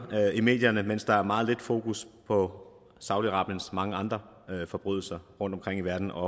i medierne mens der er meget lidt fokus på saudi arabiens mange andre forbrydelser rundtomkring i verden og